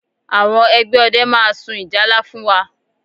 Àwọn ẹgbẹ́ ọdẹ máa sun ìjálá fún wa